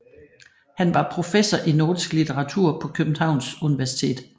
Han var professor i nordisk litteratur på Københavns Universitet